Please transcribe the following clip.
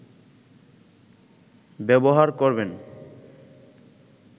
ব্যবহার করবেন